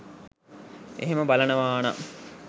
එහෙම බලනවානම්